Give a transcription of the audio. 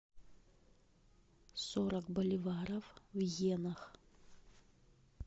сорок боливаров в йенах